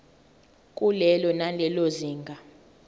kulelo nalelo zinga